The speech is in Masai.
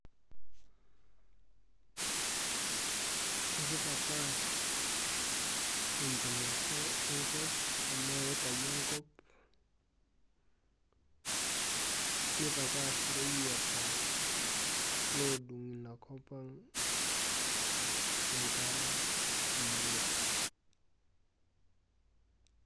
Ekitapaash enchumata enkop enaa eikai enkop, nitapaash ireyieta lodung' inakop ang' enkare emurua.